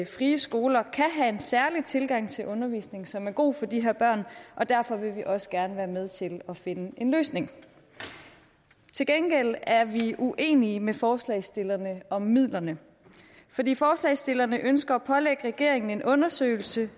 frie skoler kan have en særlig tilgang til undervisningen som er god for de her børn og derfor vil vi også gerne være med til at finde en løsning til gengæld er vi uenige med forslagsstillerne om midlerne fordi forslagsstillerne ønsker at pålægge regeringen en undersøgelse